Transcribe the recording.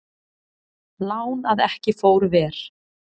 Lán að ekki fór ver